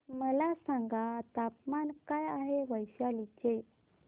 मला सांगा तापमान काय आहे वैशाली चे